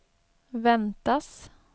väntas